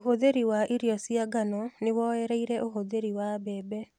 Ũhũthĩri wa irio cia ngano nĩwoereire ũhũthĩri wa mbembe